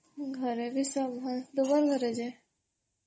ଘରେ ବି ସବୁ ଭଲ୍ ତୁମ ଘରେ ଯେ?